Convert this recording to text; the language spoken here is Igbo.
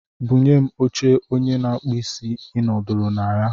Bunye m oche onye na-akpụ isí ị nọdụrụ na ya.